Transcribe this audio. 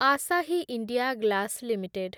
Asahi India glass limited